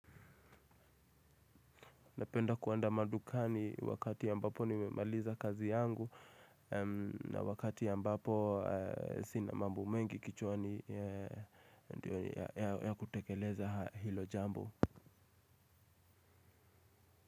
Napenda kuenda madukani wakati ya ambapo nimemaliza kazi yangu. Na wakati ya ambapo sina mambo mengi kichwani ya kutekeleza hilo jambo.